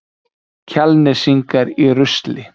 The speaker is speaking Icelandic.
Kjalnesingar í rusli